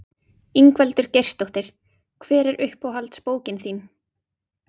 Ingveldur Geirsdóttir: Hver er uppáhalds bókin þín?